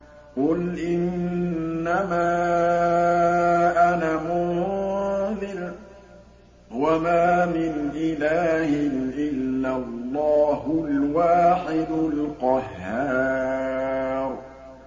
قُلْ إِنَّمَا أَنَا مُنذِرٌ ۖ وَمَا مِنْ إِلَٰهٍ إِلَّا اللَّهُ الْوَاحِدُ الْقَهَّارُ